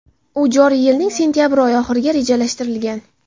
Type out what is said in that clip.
u joriy yilning sentyabr oyi oxiriga rejalashtirilgan.